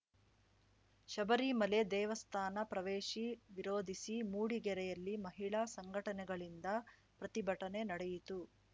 ಶಬರಿಮಲೆ ದೇವಸ್ಥಾನ ಪ್ರವೇಶಿ ವಿರೋಧಿಸಿ ಮೂಡಿಗೆರೆಯಲ್ಲಿ ಮಹಿಳಾ ಸಂಘಟನೆಗಳಿಂದ ಪ್ರತಿಭಟನೆ ನಡೆಯಿತು